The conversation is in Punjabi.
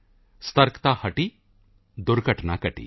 ਸਾਵਧਾਨੀ ਹਟੀ ਦੁਰਘਟਨਾ ਘਟੀ